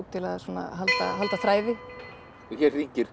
til að halda halda þræði hér hringir